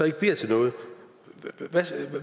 ikke bliver til noget